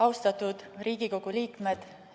Austatud Riigikogu liikmed!